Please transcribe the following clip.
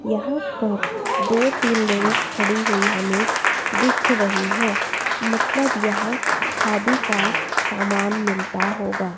यहां पर दो तीन लेडीस खड़ी हुई हमें दिख रही है मतलब यहां खादी का सामान मिलता होगा।